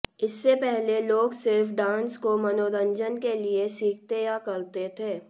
इससे पहले लोग सिर्फ डांस को मनोरंजन के लिए सीखते या करते थे